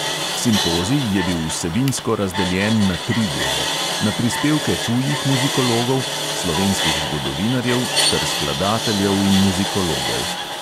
Simpozij je bil vsebinsko razdeljen na tri dele: na prispevke tujih muzikologov, slovenskih zgodovinarjev ter skladateljev in muzikologov.